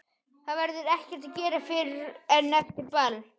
Það verður ekkert að gera fyrr en eftir ball.